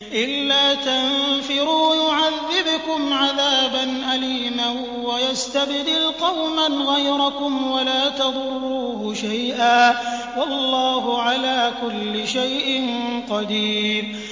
إِلَّا تَنفِرُوا يُعَذِّبْكُمْ عَذَابًا أَلِيمًا وَيَسْتَبْدِلْ قَوْمًا غَيْرَكُمْ وَلَا تَضُرُّوهُ شَيْئًا ۗ وَاللَّهُ عَلَىٰ كُلِّ شَيْءٍ قَدِيرٌ